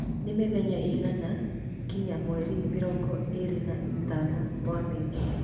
nĩ mĩthenya ĩigana kinya mweri mĩrongo ĩĩrĩ na ĩtano wa Mĩĩ